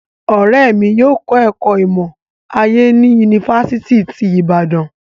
Ọrẹ mi yóò kọ ẹkọ imọ-aye ni Yunifasiti ti Ibadan